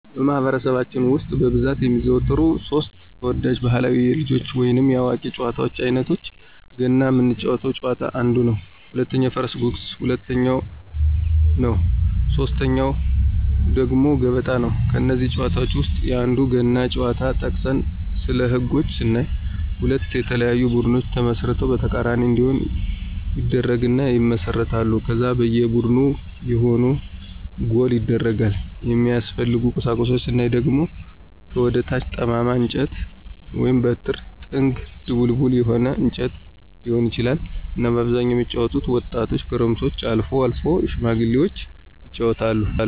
በማኅበረሰባችን ውስጥ በብዛት የሚዘወተሩ ሦስት (3) ተወዳጅ ባሕላዊ የልጆች ወይንም የአዋቂዎች ጨዋታዎች አይነቶቻቸው ገና ምንጫወተው ጨዋታ አንዱ ነው፣ ሁለተኛው የፈረስ ጉግስ ሁለተኛው ነው ሶስተኛው ደግሞ ገበጣ ናቸው። ከእነዚህ ጨዋታዎች ውስጥ የአንዱን ገና ጨዋታ ጠቅሰን ስለህጎች ስናይ ሁለት የተለያዩ ቡድኖች ተመስርተው በተቃራኒ እንዲሆኑ ይደረግና ይመሰረታሉ ከዛ በየ ቡድኑ የሆነ ጎል ይደረጋል፣ የሚያስፈልጉ ቁሳቁሶች ስናይ አንደኛ ከወደ ታች ጠማማ እንጨት(በትር)፣ጥንግ(ድቡልቡል የሆነ እንጨት ሊሆን ይችላል)እና በአብዛኛው የሚጫወቱት ወጣቶች፣ ጎረምሶችና አልፎ አልፎም ሽማግሎች ይጫወታሉ።